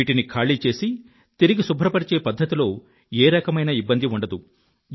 వీటిని ఖాళీ చేసి తిరిగి శుభ్రపరిచే పధ్ధతిలో ఏ రకమైన ఇబ్బందీ ఉండదు